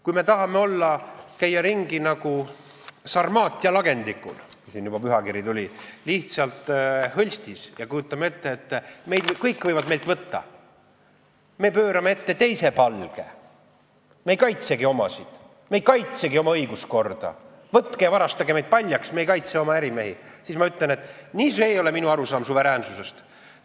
Kui me tahame käia ringi nagu Sarmaatia lagendikul – kuna siin juba pühakiri jutuks tuli –, lihtsalt hõlstis, ja kujutame ette, et kõik võivad meilt kõike võtta, me pöörame ette teise palge, me ei kaitsegi oma, me ei kaitsegi oma õiguskorda, võtke ja varastage meid paljaks, me ei kaitse oma ärimehi, siis ma ütlen, et see ei ole minu arusaam suveräänsusest.